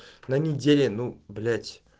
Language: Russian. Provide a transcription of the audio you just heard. на неделе ну блять